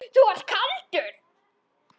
Þú ert kaldur!